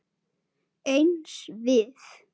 Eins við